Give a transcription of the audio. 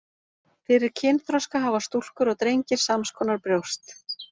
Fyrir kynþroska hafa stúlkur og drengir sams konar brjóst.